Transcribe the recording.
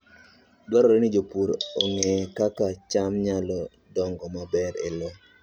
Dwarore ni jopur ong'e kaka cham nyalo dongo maber e lowo.